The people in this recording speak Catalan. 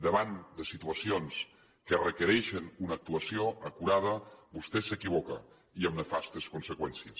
davant de situacions que requereixen una actuació acurada vostè s’equivoca i amb nefastes conseqüències